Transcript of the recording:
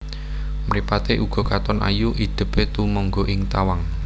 Mripaté uga katon ayu idèpé tumengga ing tawang